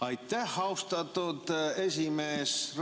Aitäh, austatud esimees!